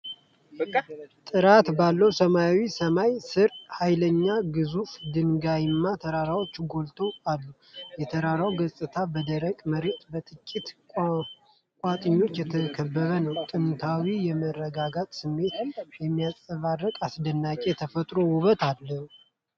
ጥርት ባለ ሰማያዊ ሰማይ ስር፣ ኃይለኛና ግዙፍ ድንጋያማ ተራራዎች ጎልተው አሉ። የተራራው ገጽታ በደረቅ መሬትና በጥቂት ቁጥቋጦዎች የተከበበ ነው፣ ጥንታዊና የመረጋጋት ስሜትን የሚያንጸባርቅ አስደናቂ የተፈጥሮ ውበት አለው።